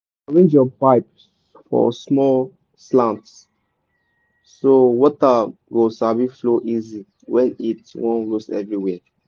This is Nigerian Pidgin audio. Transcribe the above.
arrange your pipe for small slant so water go sabi flow easy when heat wan roast everywhere.